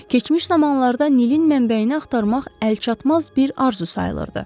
Keçmiş zamanlarda Nilin mənbəyini axtarmaq əlçatmaz bir arzu sayılırdı.